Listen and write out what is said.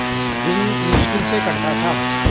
दिन मुश्किल से कटता था